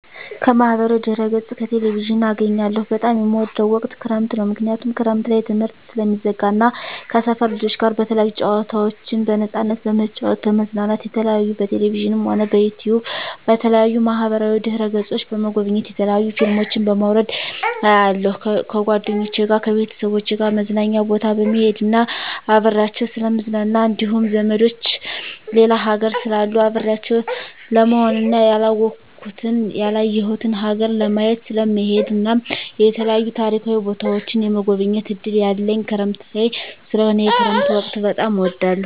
ከማህበራዊ ድህረገፅ ከቴሌቪዥን አገኛለሁ በጣም የምወደዉ ወቅት ክረምት ነዉ ምክንያቱም ክረምት ላይ ትምህርት ስለሚዘጋ እና ከሰፈር ልጆች ጋር የተለያዩ ጨዋታዎችን በነፃነት በመጫወት በመዝናናት የተለያዩ በቴሌቪዥንም ሆነ በዩቱዩብ በተለያዩ ማህበራዋ ድህረ ገፆችን በመጎብኘት የተለያዩ ፊልሞችን በማዉረድ አያለሁ ከጓደኞቸ ጋር ከቤተሰቦቸ ጋር መዝናኛ ቦታ በመሄድና አብሬያቸዉ ስለምዝናና እንዲሁም ዘመዶቸ ሌላ ሀገር ስላሉ አብሬያቸው ለመሆንና ያላወኩትን ያላየሁትን ሀገር ለማየት ስለምሄድ እናም የተለያዩ ታሪካዊ ቦታዎችን የመጎብኘት እድል ያለኝ ክረምት ላይ ስለሆነ የክረምት ወቅት በጣም እወዳለሁ